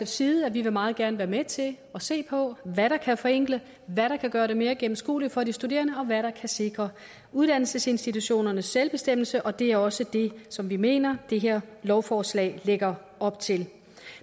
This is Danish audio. side at vi meget gerne vil være med til at se på hvad der kan forenkle hvad der kan gøre det mere gennemskueligt for de studerende og hvad der kan sikre uddannelsesinstitutionernes selvbestemmelse og det er også det som vi mener at det her lovforslag lægger op til